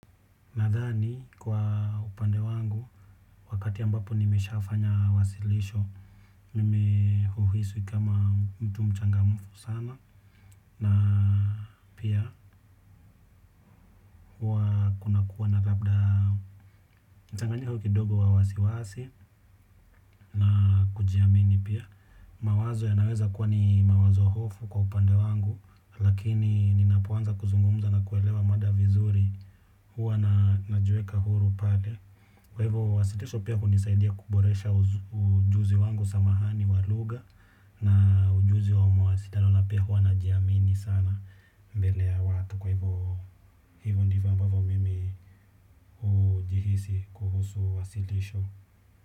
Nadhani kwa upande wangu, wakati ambapo nimesha fanya wasilisho, mimeuhisi kama mtu mchangamufu sana. Na pia huwa kunakuwa na labda mchanganyiko kidogo wa wasiwasi na kujiamini pia. Mawazo yanaweza kuwa ni mawazo hofu kwa upande wangu, lakini ninapoanza kuzungumuza na kuelewa mada vizuri huwa najiweka huru pale. Kwa hivyo wasitisho pia kunisaidia kuboresha ujuzi wangu samahani walugha. Na ujuzi wamo wasitano na pia huwa najiamini sana mbele ya watu. Kwa hivyo ndivyo ambavyo mimi hujihisi kuhusu wasitisho.